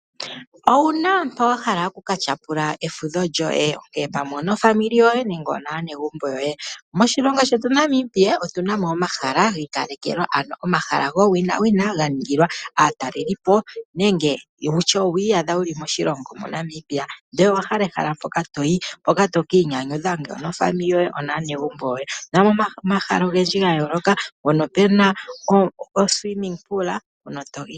Owuna mpoka wahala okukatyapula efudho lyoye? Ngele pamwe onofamili yoye nenge onaanegumbo yoye. Moshilongo shetu Namibia otuna mo omahala gi ikalekelwa, ano omahala gowina ga ningilwa aatalelipo nenge owi iyadha moNamibia ihe owahala ehala mpoka toyi, moka toki iyanyudha nofamili yoye naanegumbo yoye, omuna omahala ogendji ga yooloka, moka muna uundama wokumbwinda.